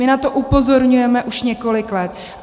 My na to upozorňujeme už několik let.